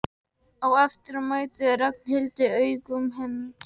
Á eftir mætti Ragnhildur augum hans.